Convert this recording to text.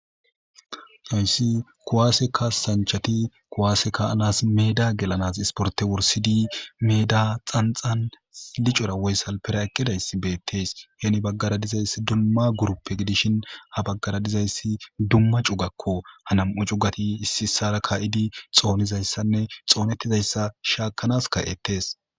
Hayssi kuwaaseka sanchati kowaase ka anas meeda gelanas isporte wursidi meeda xanxan licora woyssal pera eqkidaysi beettes heni baggara dizayssi dumma guruppe gidishin ha baggara dizayssi dumma cugakko hanam7u cugati issi issara ka7idi xoonizayssanne xoonettizayssa shaakanas ka7ettees